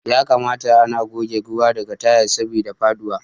Ya kamata ana goge ruwa daga tayal saboda faduwa.